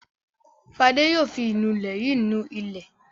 Fadé yóò fi ìnulẹ̀ yìí ni ilẹ̀.